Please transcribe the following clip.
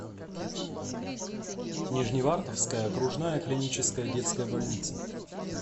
нижневартовская окружная клиническая детская больница